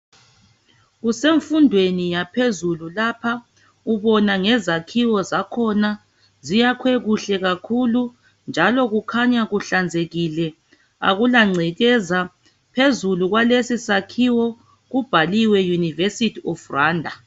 Kusemfundweni yaphezulu lapha ubona ngezakhiwo zakhona ziyakhwe kuhle kakhulu njalo kukhanya kuhlanzekile akulangcekeza. Phezulu kwalesi sakhiwo kubhaliwe University of Rwanda.